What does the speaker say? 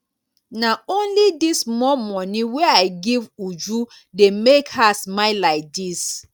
na only dis small money wey i give uju dey make her smile like dis